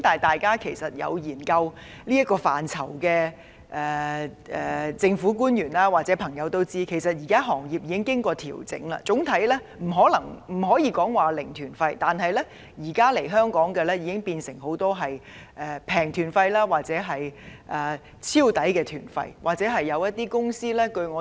但是，對這個範疇了解的政府官員或朋友也會知道，行業現時已作出調整，不再有"零團費"旅行團，但很多來港旅行團都變成"平團費"或"超值團費"旅行團。